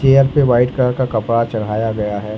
Chair पे white colour का कपड़ा चढ़ाया गया है।